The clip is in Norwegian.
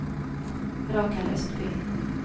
Rakel Østby